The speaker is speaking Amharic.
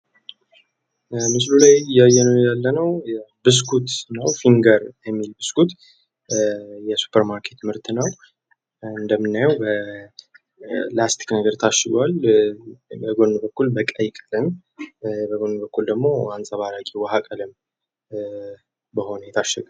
ምስሉ ላይ የምንመለከተው ብስኩት ሲሆን ፊንገር የሚል ነው ።ይህ ብስኩት የሱፐር ማርኬት እቃ ነው። እንደምናየው በወረቀት ነገር ታሽጓል። አንፀባራቊ በሆነ ላስቲክ የታሸገ ነው።